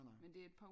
Nej nej